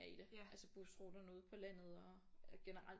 I det altså busruterne ude på landet og generelt